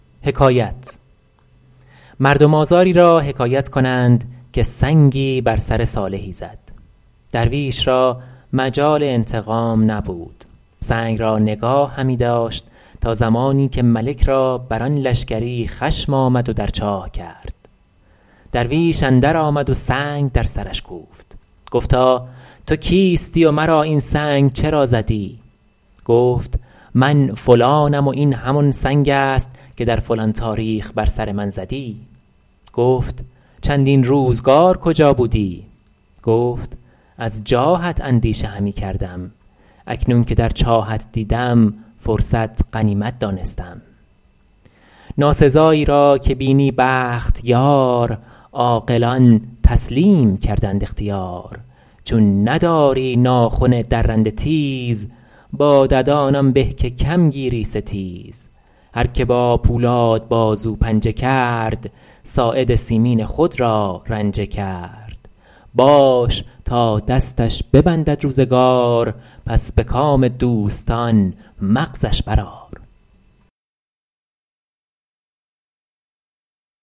مردم آزاری را حکایت کنند که سنگی بر سر صالحی زد درویش را مجال انتقام نبود سنگ را نگاه همی داشت تا زمانی که ملک را بر آن لشکری خشم آمد و در چاه کرد درویش اندر آمد و سنگ در سرش کوفت گفتا تو کیستی و مرا این سنگ چرا زدی گفت من فلانم و این همان سنگ است که در فلان تاریخ بر سر من زدی گفت چندین روزگار کجا بودی گفت از جاهت اندیشه همی کردم اکنون که در چاهت دیدم فرصت غنیمت دانستم ناسزایی را که بینی بخت یار عاقلان تسلیم کردند اختیار چون نداری ناخن درنده تیز با ددان آن به که کم گیری ستیز هر که با پولاد بازو پنجه کرد ساعد مسکین خود را رنجه کرد باش تا دستش ببندد روزگار پس به کام دوستان مغزش بر آر